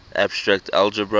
abstract algebra